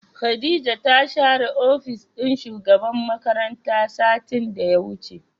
Khadijah ta share opis din shugaban makaranta satin da ya wuce.